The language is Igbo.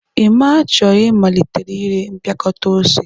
Emma chọrọ ịmalite ire mpịakọta ose.